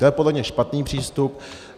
To je podle mě špatný přístup.